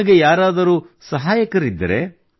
ನಿಮಗೆ ಯಾರಾದರೂ ಸಹಾಯಕರಿದ್ದರೆ